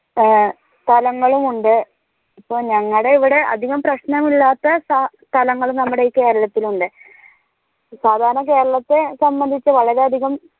ആഹ് സ്ഥലങ്ങളും ഉണ്ട് ഇപ്പൊ ഞങ്ങടെ ഇവിടെ അത്ര പ്രശ്നങ്ങൾ ഇല്ലാത്ത സ്ടലങ്ങളും നമ്മുടെ ഈ കേരളത്തിൽ ഉണ്ട് സാധാരണ കേരളത്തെ സംബന്ധിച്ച് വാലാറി അധികം